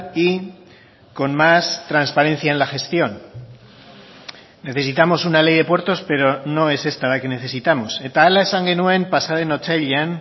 y con más transparencia en la gestión necesitamos una ley de puertos pero no es esta la que necesitamos eta hala esan genuen pasaden otsailean